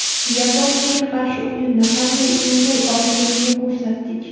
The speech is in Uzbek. Yaponiyaga qarshi o‘yinda qanday o‘ynay olishimizni ko‘rsatdik.